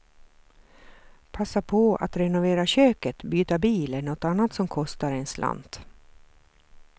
Passa på att renovera köket, byta bil eller något annat som kostar en slant.